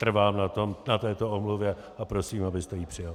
Trvám na této omluvě a prosím, abyste ji přijal.